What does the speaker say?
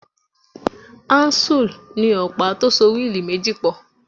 Áúnsùl ni ọ̀pá tó so wíìlì méjì pọ̀